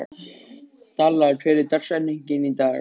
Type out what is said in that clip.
Dalla, hver er dagsetningin í dag?